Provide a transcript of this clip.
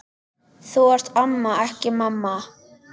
Þú ert amma, ekki mamma.